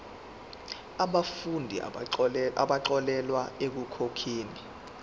yabafundi abaxolelwa ekukhokheni